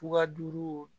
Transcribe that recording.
Fuga duuru